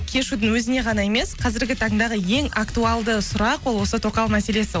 кешьюдің өзіне ғана емес қазіргі таңдағы ең актуалды сұрақ ол осы тоқал мәселесі ол